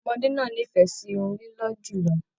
Ọmọdé náà n'ifẹ sí Irun lilọ jùlọ.